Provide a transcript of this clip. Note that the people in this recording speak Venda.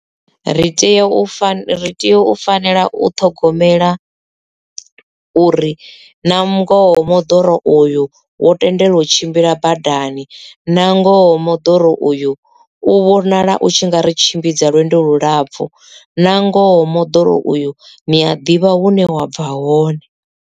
Ri tea u fana ri tea u fanela u ṱhogomela uri na ngoho moḓoro uyu wo tendelwa u tshimbila madani na ngoho moḓoro uyu u vhonala u tshi nga ri tshimbidza lwendo lulapfu na ngoho moḓoro uyu niya ḓivha hune wa bva hone.